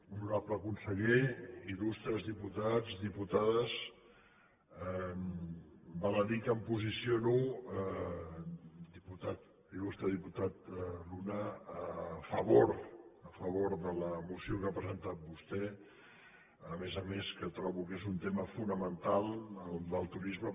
honorable conseller il·lustres diputats i diputades val a dir que em posiciono il·lustre diputat luna a favor de la moció que ha presentat vostè a més a més que trobo que és un tema fonamental el del turisme